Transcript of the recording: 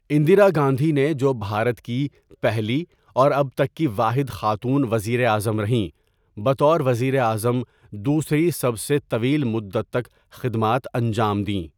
اندرا گاندھی نے، جو بھارت کی پہلی اور اب تک کی واحد خاتون وزیر اعظم رہیں، بطور وزیر اعظم دوسری سب سے طویل مدت تک خدمات انجام دیں۔